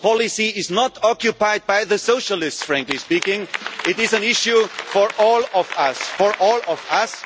Social policy is not occupied by the Socialists, frankly speaking, it is an issue for all of